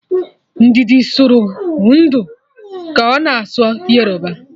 Ndidi sụrụ ndụ ka ọ na-asụ Yoruba